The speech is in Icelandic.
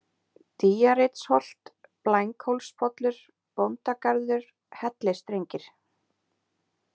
Dýjareitsholt, Blænghólspollur, Bóndagarður, Hellisstrengir